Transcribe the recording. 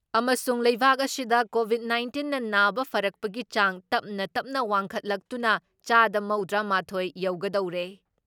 ꯑꯃꯁꯨꯨꯨꯡ ꯂꯩꯕꯥꯛ ꯑꯁꯤꯗ ꯀꯣꯚꯤꯠ ꯅꯥꯏꯟꯇꯤꯟꯅ ꯅꯥꯕ ꯐꯔꯛꯄꯒꯤ ꯆꯥꯡ ꯇꯞ ꯇꯞꯅ ꯋꯥꯡꯈꯠꯂꯛꯇꯨꯅ ꯆꯥꯗ ꯃꯧꯗ꯭ꯔꯥ ꯃꯥꯊꯣꯏ ꯌꯧꯒꯗꯧꯔꯦ ꯫